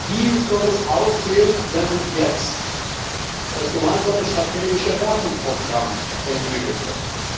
Wie soll es aussehen, wenn jetzt das Gemeinsame Strategische Rahmenprogramm entwickelt wird?